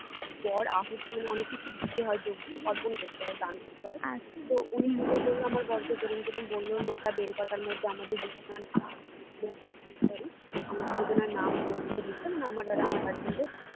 বর আহূতি মানে অনেক কিছু দিতে হয় যজ্ঞে অর্পণ করতে হয় দান করতে হয় তো উনি পুজো করলো আমর বরকে যেরম যেরম বললো নয়টা বেলপাতার মধ্যে আমাদের দুজনের sorry আমাদের দুজনের নাম গোত্র লিখে মানে আমার আর আমার husband এর